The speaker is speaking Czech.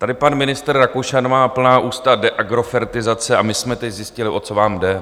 Tady pan ministr Rakušan má plná ústa deagrofertizace a my jsme teď zjistili, o co vám jde.